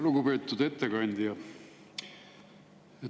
Lugupeetud ettekandja!